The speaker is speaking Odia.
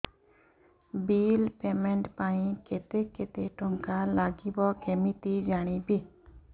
ବିଲ୍ ପେମେଣ୍ଟ ପାଇଁ କେତେ କେତେ ଟଙ୍କା ଲାଗିବ କେମିତି ଜାଣିବି